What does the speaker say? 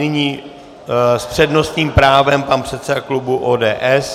Nyní s přednostním právem pan předseda klubu ODS.